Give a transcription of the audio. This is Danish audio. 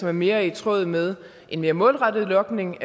er mere i tråd med en mere målrettet logning